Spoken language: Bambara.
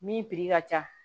Min ka ca